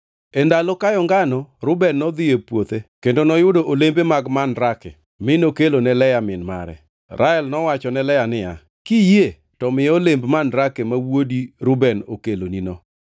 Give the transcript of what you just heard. E ndalo kayo ngano, Reuben nodhi e puothe kendo noyudo olembe mag mandrake, + 30:14 Joma chon ne paro ni olemb mandrake nyalo miyo dhako mako ich. mi nokelo ne Lea min mare. Rael nowacho ne Lea niya, “Kiyie to miya olemb mandrake ma wuodi Reuben okelonino.”